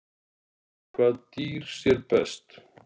Hvaða dýr sér best?